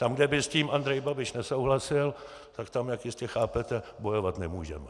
Tam, kde by s tím Andrej Babiš nesouhlasil, tak tam, jak jistě chápete, bojovat nemůžeme.